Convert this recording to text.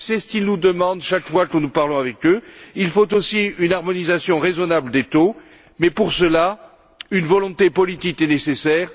C'est ce qu'ils nous demandent chaque fois que nous leur parlons. Il faut aussi une harmonisation raisonnable des taux, mais pour cela, une volonté politique est nécessaire